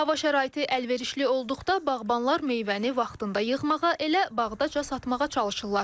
Hava şəraiti əlverişli olduqda bağbanlar meyvəni vaxtında yığmağa, elə bağdaca satmağa çalışırlar.